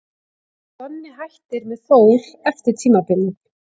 En Donni hættir með Þór eftir tímabilið.